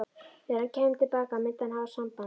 Þegar hann kæmi til baka myndi hann hafa samband.